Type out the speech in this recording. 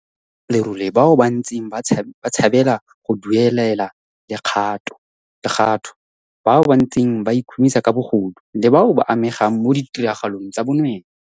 SARS e bontsha lerole bao ba ntseng ba tshabela go duelela lekgatho, bao ba ntseng ba ikhumisa ka bogodu, le bao ba amegang mo ditiragalong tsa bonweenwee.